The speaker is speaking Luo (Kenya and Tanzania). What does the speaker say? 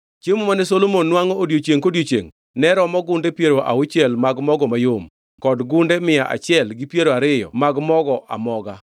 Chiemo mane Solomon nwangʼo odiechiengʼ kodiechiengʼ ne romo gunde piero auchiel mag mogo mayom kod gunde mia achiel gi piero ariyo ariyo mag mogo amoga;